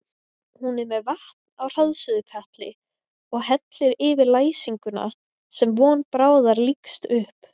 Hún er með vatn á hraðsuðukatli og hellir yfir læsinguna sem von bráðar lýkst upp.